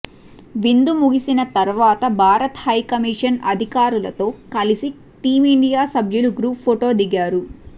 వింధు ముగిసిన తర్వాత భారత హై కమీషన్ అధికారులతో కలిసి టీమిండియా సభ్యులు గ్రూప్ ఫోటో దిగారు